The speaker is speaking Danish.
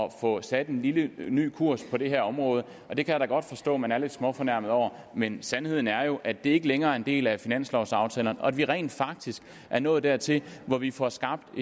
at få sat en lidt ny kurs på det her område det kan jeg godt forstå man er lidt småfornærmet over men sandheden er at det ikke længere er en del af finanslovsaftalen og at vi rent faktisk er nået dertil hvor vi får skabt